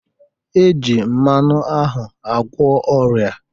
E ji mmanụ ahụ agwọ ọrịa